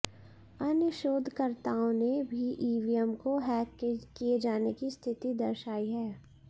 अन्य शोधकर्ताओं ने भी ईवीएम को हैक किए जाने की स्थिति दर्शायी है